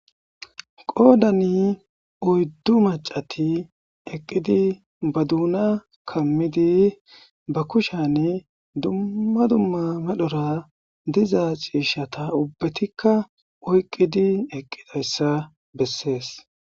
Qoodani oyddu maccati ba duuna kammidi ba kushani dumma dumma medhora diza ciishata ubbatikka oykkidi eqqidaysa bessees.